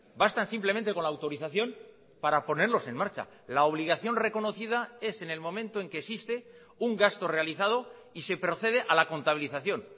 bastan simplemente con la autorización para ponerlos en marcha la obligación reconocida es en el momento en que existe un gasto realizado y se procede a la contabilización